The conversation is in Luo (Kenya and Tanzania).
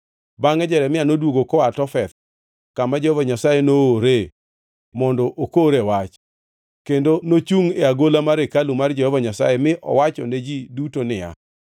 Bangʼe Jeremia noduogo koa Tofeth, kama Jehova Nyasaye noore mondo okore wach, kendo nochungʼ e agola mar hekalu mar Jehova Nyasaye mi owachone ji duto ni,